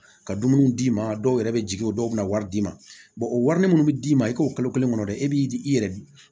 Ka dumuniw d'i ma dɔw yɛrɛ bɛ jigin o dɔw bɛ na wari d'i ma wari mun bɛ d'i ma i k'o kalo kelen kɔnɔ dɛ e b'i i yɛrɛ